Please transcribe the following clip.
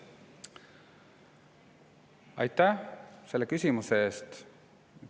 Aitäh selle küsimuse eest!